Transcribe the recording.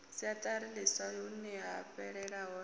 siaṱari ḽiswa huneya fhelela hone